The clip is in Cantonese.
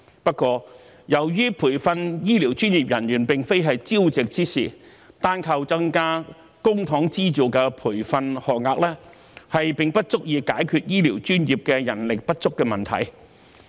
不過，由於培訓醫療專業人員並非朝夕之事，單靠增加公帑資助的培訓學額，並不足以解決醫療專業人手不足的問題。